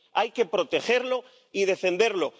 Hay que protegerlo y defenderlo.